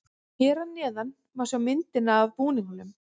Hér að neðan má sjá myndina af búningunum.